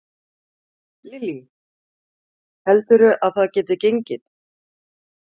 Lillý: Heldurðu að það geti gengið?